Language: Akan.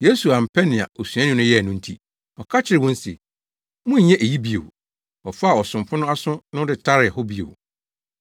Yesu ampɛ nea osuani no yɛe no nti, ɔka kyerɛɛ wɔn se, “Monnyɛ eyi bi bio!” Ɔfaa ɔsomfo no aso no de taree hɔ bio.